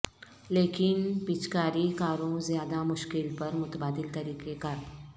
لیکن پچکاری کاروں زیادہ مشکل پر متبادل طریقہ کار